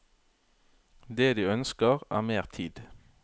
Det de ønsker er mer tid.